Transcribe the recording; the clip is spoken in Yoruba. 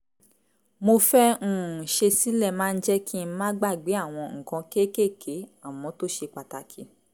mo fẹ́ um ṣe sílẹ̀ máa ń jẹ́ kí n má gbàgbé àwọn nǹkan kéékèèké àmọ́ tó ṣe pàtàkì